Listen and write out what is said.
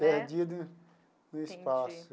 Perdido no espaço. Entendi.